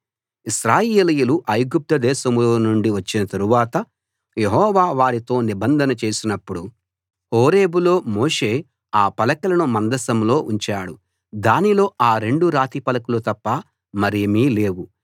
ఇశ్రాయేలీయులు ఐగుప్తు దేశంలో నుండి వచ్చిన తరవాత యెహోవా వారితో నిబంధన చేసినపుడు హోరేబులో మోషే ఆ పలకలను మందసంలో ఉంచాడు దానిలో ఆ రెండు రాతిపలకలు తప్ప మరేమీ లేవు